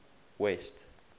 west